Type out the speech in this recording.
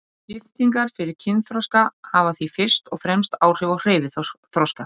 Lyftingar fyrir kynþroska hafa því fyrst og fremst áhrif á hreyfiþroska.